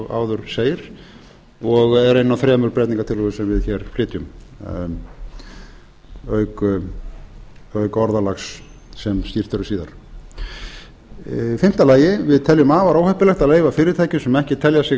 áður segir og er ein af þremur breytingartillögum sem við hér flytjum auk orðalags sem skýrt verður síðar í fimmta lagi við teljum afar óheppilegt að leyfa fyrirtækjum sem ekki telja sig